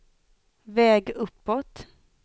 väg uppåt